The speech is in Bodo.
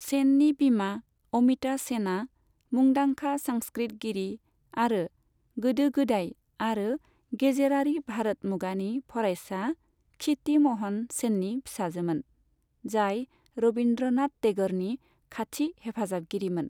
सेननि बिमा अमिता सेनआ मुंदांखा संस्कृतगिरि आरो गोदो गोदाय आरो गेजेरारि भारत मुगानि फरायसा क्षिति म'हन सेननि फिसाजोमोन, जाय रबिन्द्र'नाथ टेग'रनि खाथि हेफाजाबगिरिमोन।